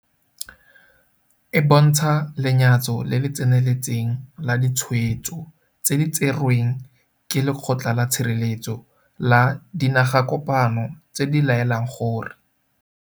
E bontsha lenyatso le le tseneletseng la ditshwetso tse di tserweng ke Lekgotla la Tshireletso la Dinagakopano tse di laelang gore